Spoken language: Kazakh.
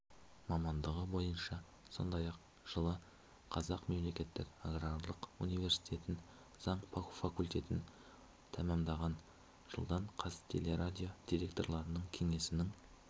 мамандығы бойынша сондай-ақ жылы қазақ мемлекеттік аграрлық университетін заң факультетін тәмамдаған жылдан қазтелерадио директорлар кеңесінің